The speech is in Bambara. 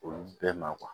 Olu bɛɛ ma